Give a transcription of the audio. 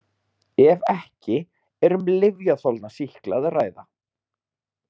Ef ekki er um lyfjaþolna sýkla að ræða.